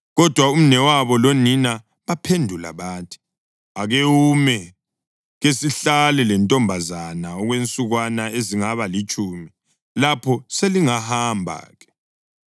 Kodwa umnewabo lonina baphendula bathi, “Ake ume kesihlale lentombazana okwensukwana ezingaba litshumi; lapho selingahamba-ke.”